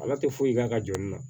Ala tɛ foyi k'a ka jɔn na